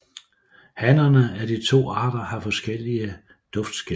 Hannerne af de to arter har forskellige duftskæl